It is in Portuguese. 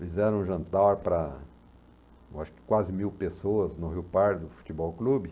Fizeram um jantar para eu acho que quase mil pessoas no Rio Pardo Futebol Clube.